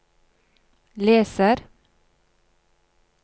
leser